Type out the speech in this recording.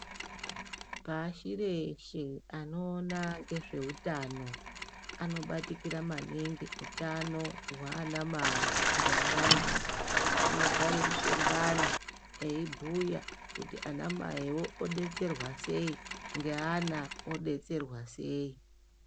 Pashi reshe anoona ngezveutano anobatikira maningi utano hwaana mai ngeana anogare muhlongana eibhuya kuti ana mai odetserwa sei ngeana odetserwa sei.